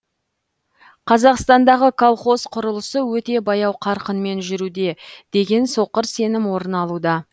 қазақстандағы колхоз құрылысы өте баяу қарқынмен жүруде деген соқыр сенім орын алуда